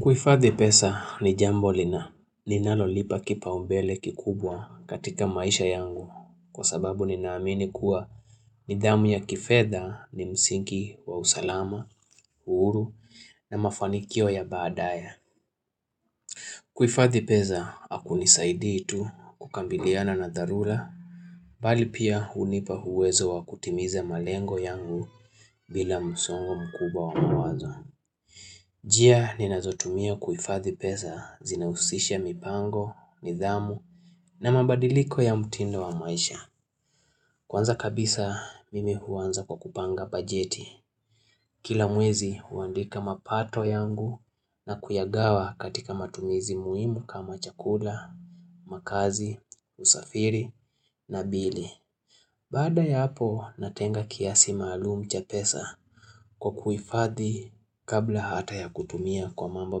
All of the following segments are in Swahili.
Kuhifadhi pesa ni jambo lina ninalolipa kipaumbele kikubwa katika maisha yangu kwa sababu ninaamini kuwa nidhamu ya kifedha ni msingi wa usalama, uhuru na mafanikio ya badaye. Kuhifadhi pesa hakunisaidii tu kukabiliana na dharula bali pia hunipa uwezo wa kutimiza malengo yangu bila msongo mkuba wa mawazo. Njia ni nazotumia kuhifadhi pesa zinahusisha mipango, nidhamu na mabadiliko ya mtindo wa maisha. Kwanza kabisa mimi huanza kwa kupanga bajeti. Kila mwezi huandika mapato yangu na kuyagawa katika matumizi muhimu kama chakula, makazi, usafiri na bili. Baada ya hapo natenga kiasi maalum cha pesa kwa kuifadhi kabla hata ya kutumia kwa mambo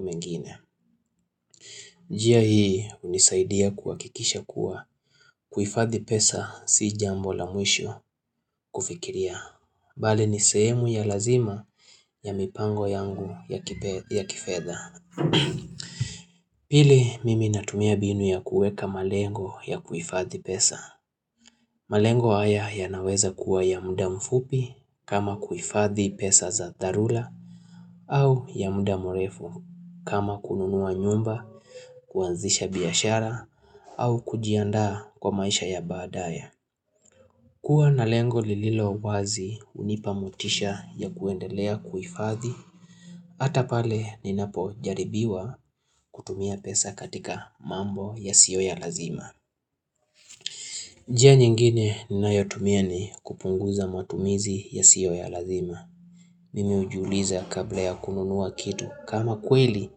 mengine. Njia hii hunisaidia kuhakikisha kuwa kuhifadhi pesa si jambo la mwisho kufikiria. Bali nisehemu ya lazima ya mipango yangu ya kifedha. Pili, mimi natumia mbinu ya kuweka malengo ya kuhifadhi pesa. Malengo haya yanaweza kuwa ya muda mfupi kama kuhifadhi pesa za dharula au ya muda mrefu kama kununua nyumba, kuanzisha biyashara au kujiandaa kwa maisha ya badaye. Kuwa na lengo lililowazi hunipa motisha ya kuendelea kuhifadhi, hata pale ninapojaribiwa kutumia pesa katika mambo yasiyo ya lazima. Njia nyengine ninayotumia ni kupunguza matumizi yasiyo ya lazima. Mimi hujiuliza kabla ya kununua kitu kama kweli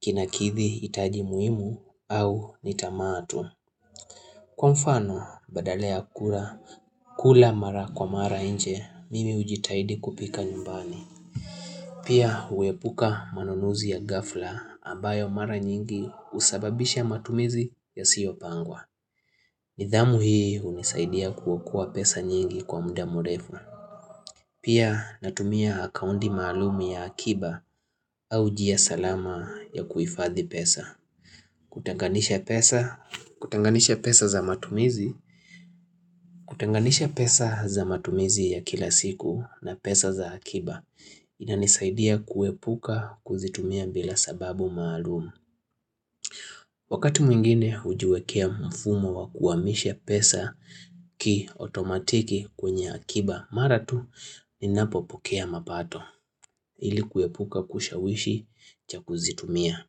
Kinakithi hitaji muhimu au nitamaa tu Kwa mfano badala kula kula mara kwa mara nje mimi hujitahidi kupika nyumbani Pia huepuka manunuzi ya ghafla ambayo mara nyingi husababisha matumizi yasiyopangwa nidhamu hii hunisaidia kuokoa pesa nyingi kwa muda mrefu. Pia natumia akaunti maalum ya akiba au njia salama ya kuhifadhi pesa. Kutenganisha kutenganisha pesa za matumizi Kutanganisha pesa za matumizi ya kila siku na pesa za akiba inanisaidia kuepuka kuzitumia bila sababu maalumu Wakati mwingine hujiwekea mfumo wa kuhamisha pesa kiotomatiki kwenye akiba mara tu Ninapo pokea mapato ilikuepuka kushawishi cha kuzitumia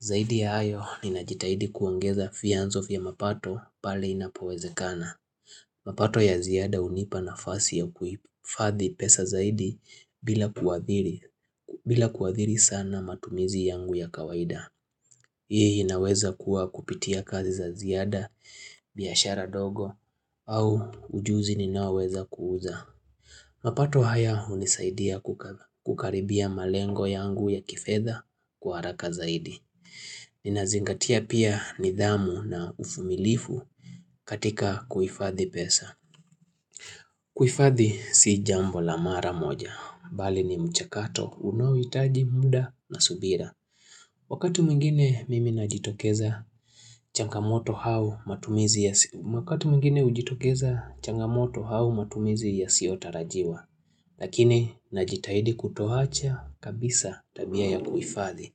Zaidi ya hayo ninajitahidi kuongeza vyanzo vya mapato pale inapowezekana mapato ya ziada hunipa nafasi ya kufadhi pesa zaidi bila kuadhiri sana matumizi yangu ya kawaida Hii inaweza kuwa kupitia kazi za ziada, biashara ndogo au ujuzi ninaoweza kuuza mapato haya hunisaidia kukaribia malengo yangu ya kifedha kwa haraka zaidi ninazingatia pia nidhamu na uvumilivu katika kuhifadhi pesa kuhifadhi sii jambo la mara moja Bali ni mchakato unaohitaji muda na subira Wakatu mwingine mimi najitokeza changamoto au matumizi ya siyotarajiwa Lakini najitahidi kutoacha kabisa tabia ya kuhifadhi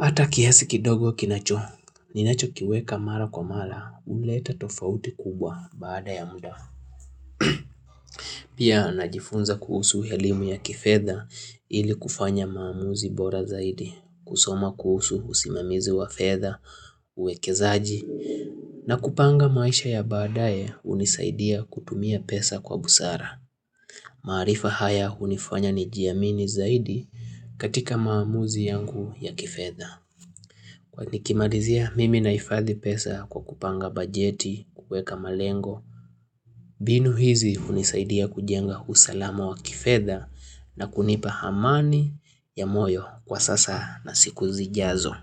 Hata kiasi kidogo kinacho, ninacho kiweka mara kwa mara, huleta tofauti kubwa baada ya muda. Pia najifunza kuhusu elimu ya kifedha ili kufanya maamuzi bora zaidi, kusoma kuhusu usimamizi wa fedha, uwekezaji, na kupanga maisha ya baadaye hunisaidia kutumia pesa kwa busara. Marifa haya hunifanya nijiamini zaidi katika maamuzi yangu ya kifedha. Nikimalizia mimi nahifadhi pesa kwa kupanga bajeti, kuweka malengo mbinu hizi hunisaidia kujenga usalama wa kifedha na kunipa amani ya moyo kwa sasa na siku zijazo.